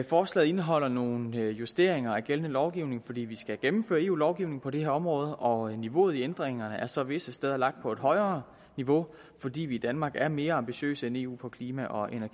forslaget indeholder nogle justeringer af gældende lovgivning fordi vi skal gennemføre eu lovgivning på det her område og niveauet i ændringerne er så visse steder lagt på et højere niveau fordi vi danmark er mere ambitiøse end eu på klima og